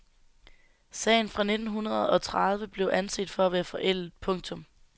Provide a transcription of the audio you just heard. Sagen fra nittenhundredeogtredive blev anset for at være forældet. punktum